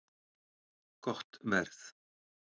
Gott verð